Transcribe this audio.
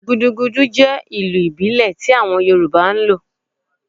Gúdúgúdú jẹ ilu ibile tí awon Yoruba n lo